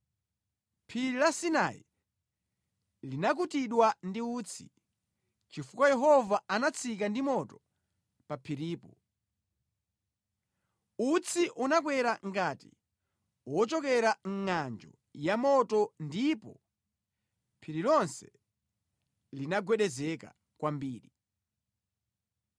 Phiri la Sinai linakutidwa ndi utsi, chifukwa Yehova anatsika ndi moto pa phiripo. Utsi unakwera ngati wochokera mʼngʼanjo yamoto ndipo phiri lonse linagwedezeka kwambiri.